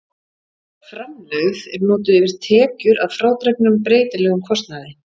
Framlegð er notuð yfir tekjur að frádregnum breytilegum kostnaði.